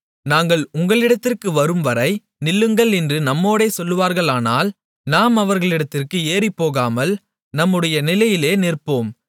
நாங்கள் உங்களிடத்திற்கு வரும் வரை நில்லுங்கள் என்று நம்மோடே சொல்வார்களானால் நாம் அவர்களிடத்திற்கு ஏறிப்போகாமல் நம்முடைய நிலையிலே நிற்போம்